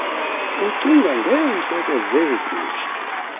ucinga ngeentloko zeegusha